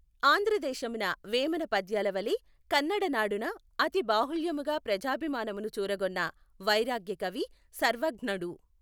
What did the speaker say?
ఆంధ్రదేశమున వేమన పద్యాలవలె కన్నడనాడున అతి బాహుళ్యముగా ప్రజాభిమానమును చూరగొన్న వైరాగ్యకవి సర్వజ్ఞడు.